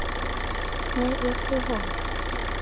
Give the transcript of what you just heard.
e ne e se ho